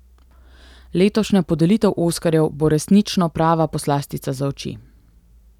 Letošnja podelitev oskarjev bo resnično prava poslastica za oči.